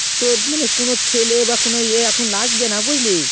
তোর কোনো ছেলে বা কোনো এ এখন লাগবেনা বুঝলি